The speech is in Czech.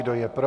Kdo je pro?